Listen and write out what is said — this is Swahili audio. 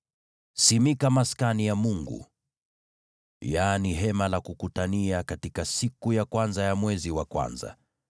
“Simika Maskani ya Mungu, yaani Hema la Kukutania, katika siku ya kwanza ya mwezi wa kwanza.